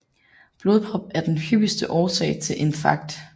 Blodprop er den hyppigste årsag til infarkt